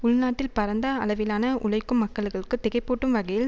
உள்நாட்டில் பரந்த அளவிலான உழைக்கும் மக்கள்களுக்கு திகைப்பூட்டும்வகையில்